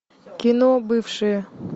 кино бывшие